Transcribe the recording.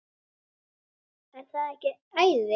Er það ekki æði?